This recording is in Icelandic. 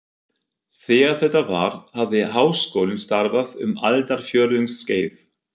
Þegar þetta var, hafði Háskólinn starfað um aldarfjórðungs skeið.